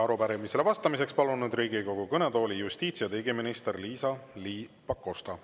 Arupärimisele vastamiseks palun nüüd Riigikogu kõnetooli justiits- ja digiministri Liisa-Ly Pakosta.